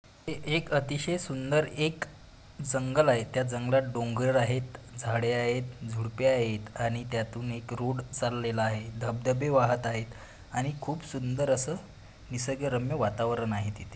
हे एक अतिशय सुंदर एक जंगल आहे. त्या जंगलात डोंगर आहे. झाडे आहेत. झुडपे आहेत आणि त्यातून एक रोड चालेला आहे. धबधबे वाहत आहेत आणि खूप सुंदर असा निसर्गरम्य वातावरण आहे तिथे.